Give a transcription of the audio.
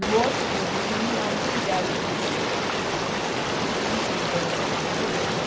No outro dia, na reunião, eles fizeram o levantamento tudo, tinha um rombo grandioso,